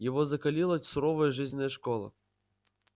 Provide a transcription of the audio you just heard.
его закалила суровая жизненная школа